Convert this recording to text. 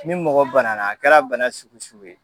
Ni mɔgɔ banana a kɛra bana sugu sugu ye.